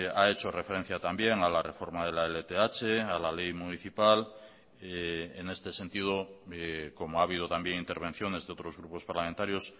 ha hecho referencia también a la reforma de la lth a la ley municipal en este sentido como ha habido también intervenciones de otros grupos parlamentarios